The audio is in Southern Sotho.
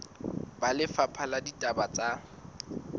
ba lefapha la ditaba tsa